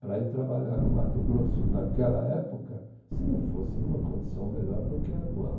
Para ir trabalhar no Mato Grosso naquela época, se não fosse numa condição melhor do que a atual.